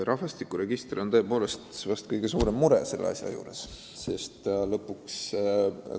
Rahvastikuregister on tõepoolest selle asja juures kõige suurem mure.